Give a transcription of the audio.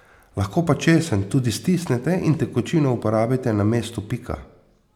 Lahko pa česen tudi stisnete in tekočino uporabite na mestu pika.